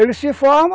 Ele se forma,